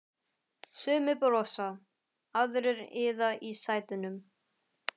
Sumir brosa, aðrir iða í sætunum.